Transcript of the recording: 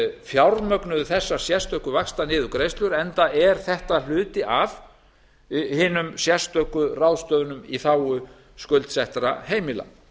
fjármögnuðu þessar sérstöku vaxtaniðurgreiðslur enda er þetta hluti af hinum sérstöku ráðstöfunum í þágu skuldsettra heimila